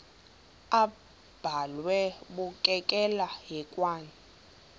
abhalwe bukekela hekwane